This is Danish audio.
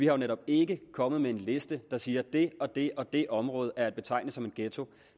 jo netop ikke kommet med en liste der siger at det og det og det område er at betegne som en ghetto